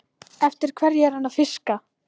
Eftir hverju er hann að fiska?